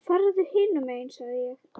Farðu hinum megin sagði ég.